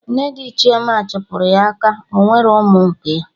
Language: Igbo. Nne di Chioma chụpụrụ ya aka Ọnwerọ ụmụ nke ya